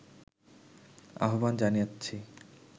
আহবান জানাচ্ছি